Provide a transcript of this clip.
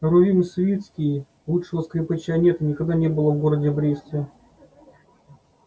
рувим свицкий лучшего скрипача нет и никогда не было в городе бресте